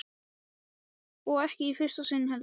Og ekki í fyrsta sinn heldur.